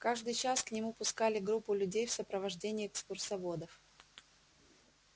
каждый час к нему пускали группу людей в сопровождении экскурсоводов